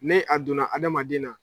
Ne a donna adamaden na